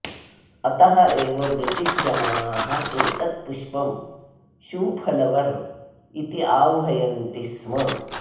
अतः एव ब्रिटिष् जनाः एतत् पुष्पं शू फलवर् इति आह्वयन्ति स्म